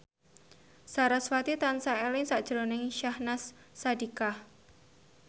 sarasvati tansah eling sakjroning Syahnaz Sadiqah